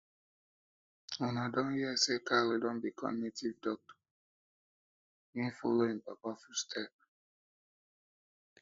una don hear say kalu don become native doctor he follow im papa footstep